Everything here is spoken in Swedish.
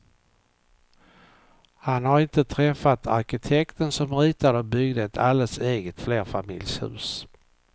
Han har inte träffat arkitekten som ritade och byggde ett alldeles eget flerfamiljshus.